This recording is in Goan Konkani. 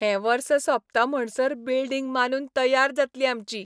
हें वर्स सोंपता म्हणसर बिल्डिंग बांदून तय्यार जातली आमची.